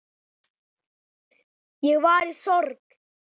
Ég var í sorg.